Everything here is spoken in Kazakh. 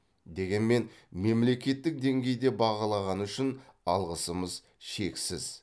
дегенмен мемлекеттік деңгейде бағалағаны үшін алғысымыз шексіз